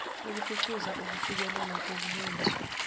ukuphucuza ukufikelela kubulungiswa